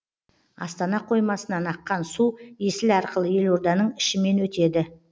астана қоймасынан аққан су есіл арқылы елорданың ішімен өтеді